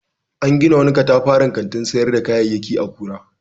An gina wani katafaren kantin sayar da kayayyaki a Kura.